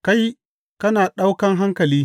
Kai, kana ɗaukan hankali!